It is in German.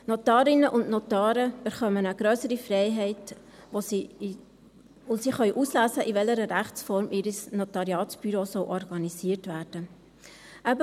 Die Notarinnen und Notare erhalten eine grössere Freiheit, und sie können auswählen, in welcher Rechtsform ihr Notariatsbüro organisiert werden soll.